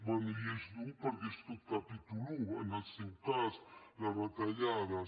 bé i és dur perquè és tot capítol i en el seu cas les retallades